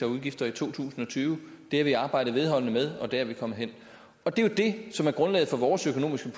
og udgifter i to tusind og tyve det har vi arbejdet vedholdende med og der er vi kommet hen det er jo det som er grundlaget for vores økonomiske